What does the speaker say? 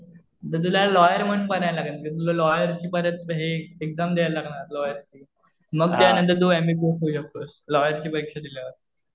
तर तुला लॉयर म्हणून बनायला लागेल. ते तुला लॉयरची मदत हे एक्झाम दयायला लागणार लॉयर. मग त्या नंतर तू एम बी बी एस होऊ शकतो, लॉयरची परीक्षा दिल्यावर.